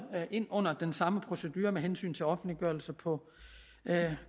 ind under den samme procedure med hensyn til offentliggørelse på